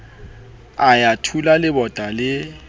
a ya thula lebota le